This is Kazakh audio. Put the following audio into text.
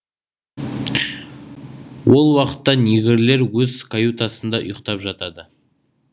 ол уақытта негрлер өз каютасында ұйықтап жатады